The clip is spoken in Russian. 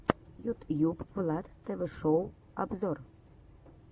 ютьюб влад тв шоу обзор